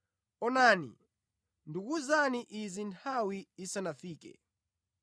Onani, ndakuwuzani izi nthawi isanafike.